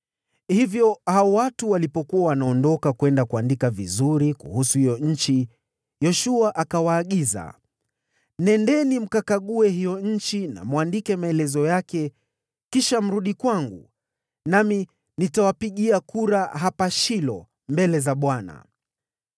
Watu hao walipokuwa wanaondoka kwenda kuandika vizuri kuhusu hiyo nchi, Yoshua akawaagiza, “Nendeni mkakague hiyo nchi na mwandike maelezo kuihusu. Kisha mrudi kwangu, nami nitawapigia kura hapa Shilo mbele za Bwana .”